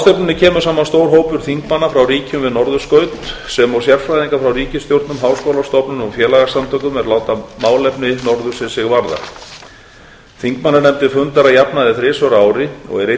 ráðstefnunni kemur saman stór hópur þingmanna frá ríkjum við norðurskaut sem og sérfræðingar frá ríkisstjórnum háskólastofnunum og félagasamtökum er láta málefni norðursins sig varða þingmannanefndin fundar að jafnaði þrisvar á ári og einn